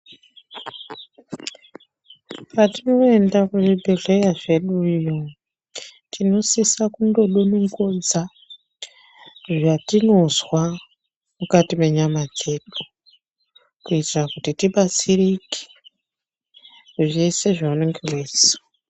Patinoyenda kuzvibhedhlera zvedu ino, tinosisa kundodonongodza zvatinozwa mukati menyama dzedu, kuyitira kuti tibatsirike zvese zvaunenge weyizwa.